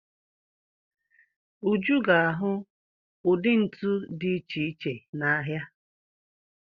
Uju ga-ahụ ụdị ntu dị iche iche n'ahịa.